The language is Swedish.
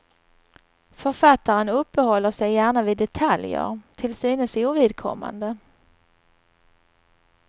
Författaren uppehåller sig gärna vid detaljer, till synes ovidkommande.